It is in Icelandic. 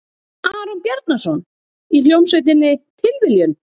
Aron Bjarnason, í hljómsveitinni Tilviljun?